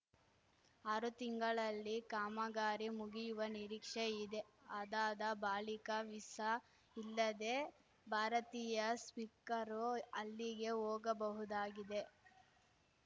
ಆರು ತಿಂಗಳಲ್ಲಿ ಕಾಮಗಾರಿ ಮುಗಿಯುವ ನಿರೀಕ್ಷೆ ಇದೆ ಅದಾದ ಬಾಳಿಕ ವೀಸಾ ಇಲ್ಲದೇ ಭಾರತೀಯ ಸಿಖ್ಖರು ಅಲ್ಲಿಗೆ ಹೋಗಬಹುದಾಗಿದೆ